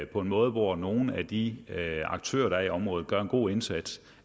på en måde hvor nogle af de aktører der er i området gør en god indsats